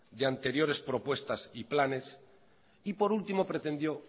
de anteriores propuestas y planes y por último pretendió